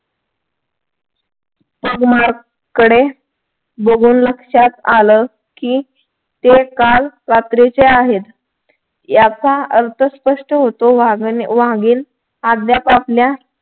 कडे बघून लक्षात आलं की ते काल रात्रीचे आहेत याचा अर्थ स्पष्ट होतो वाघीण